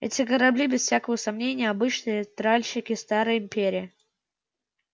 эти корабли без всякого сомнения обычные тральщики старой империи